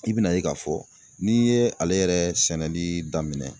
I bi na ye k'a fɔ n'i ye ale yɛrɛ sɛnɛli daminɛ.